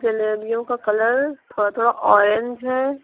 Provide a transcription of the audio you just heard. जलेबियों का कलर थोड़ा थोड़ा ऑरेंज है।